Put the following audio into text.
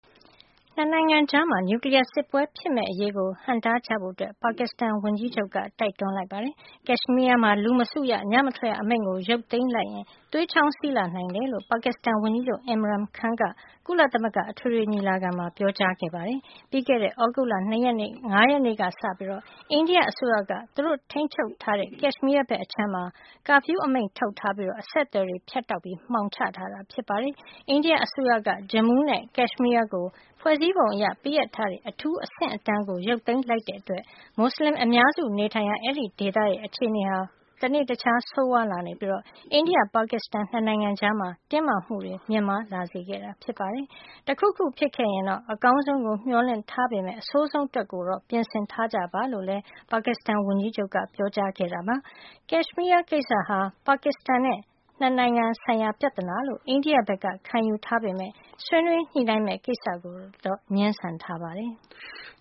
နှစ်နိုင်ငံကြား နျူကလီးယားစစ်ပွဲဖြစ်မယ့်အရေးကို ဟန့်တားကြဖို့ ပါကစ္စတန် ဝန်ကြီးချုပ်က တိုက်တွန်းလိုက်ပါတယ်။ ကက်ရှ်မီးယားမှာ လူမစုရ၊ ညမထွက်ရ အမိန့်ကို ရုပ်သိမ်းလိုက်ရင် သွေးချောင်းစီးလာနိုင်တယ်လို့ ပါကစ္စတန်ဝန်ကြီးချုပ် Imran Khan က ကုလသမ္မဂ အထွေထွေညီလာခံမှာ ပြောကြားသွားတာပါ။ ပြီးခဲ့တဲ့ သြဂုတ်လ ၅ ရက်နေ့ကစပြီး အိန္ဒိယအစိုးရက သူတို့ ထိန်းချုပ်တဲ့ ကက်ရှ်မီးယား အခြမ်းမှာcurfew အမိန့် ထုတ်ပြီး အဆက်အသွယ်တွေ ဖြတ်တောက် မှောင်ချထားတာ ဖြစ်ပါတယ်။ အိန္ဒိယအစိုးရက Jammu နဲ့ ကက်ရှ်မီးယားကို ဖွဲ့စည်းပုံအရ ပေးအပ်ထားတဲ့ အထူးအဆင့်အတန်းကို ရုပ်သိမ်းလိုက်တဲ့အတွက် မူဆလင်အများစု နေထိုင်ရာ အဲဒီဒေသရဲ့ အခြေအနေဟာ တနေ့တခြား ဆိုးဝါးလာပြီး အိန္ဒိယ-ပါကစ္စတန် နှစ်နိုင်ငံကြား တင်းမာမှု မြင့်မားလာစေခဲ့တာပါ။ “တခုခု ဖြစ်ခဲ့ရင်တော့ အကောင်းဆုံးကို မျှော်လင့်ပေမယ့် အဆိုးဆုံးအတွက် ပြင်ဆင်ထားကြပါ” လို့လည်း ပြောသွားပါတယ်။ ကက်ရှ်မီးယားကိစ္စဟာ ပါကစ္စတန်နဲ့ နှစ်နိုင်ငံဆိုင်ရာ ပြဿနာလို့ အိန္ဒိယက ခံယူထားပေမယ့် ဆွေးနွေးညှိနှိုင်းမယ့်ကိစ္စကိုတော့ ငြင်းဆန်ထားပါတယ်။